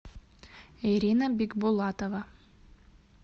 ирина бикбулатова